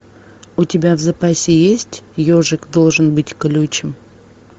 у тебя в запасе есть ежик должен быть колючим